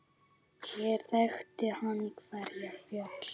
Hér þekkti hann hverja fjöl.